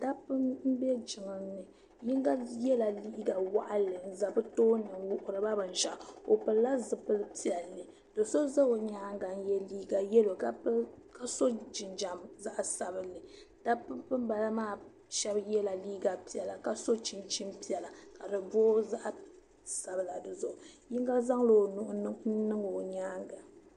Dabba m bɛ jiŋli ni yino yɛla liiga waɣinli n za bɛ tooni wuhiriba binshɛɣu o pili la zipili piɛlli do za o nyaaŋa n yɛ yɛllo ka so jinjɛm zaɣi sabinli dabba banbala maa yɛla liiga piɛlla ka so chinchini piɛlla ka di booi zaɣi sabila di zuɣu yino zaŋla o nuhi niŋ o nyaaŋa.